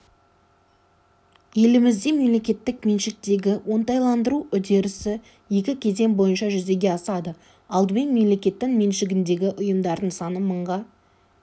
елімізде мемлекеттік меншіктегі оңтайландыру үдерісі екі кезең бойынша жүзеге асады алдымен мемлекеттің меншігіндегі ұйымдардың саны мыңға